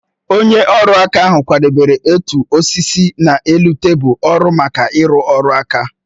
Onye ọrụ aka ahụ kwadebere otu osisi n'elu tebụl ọrụ maka ịrụ ọrụ nka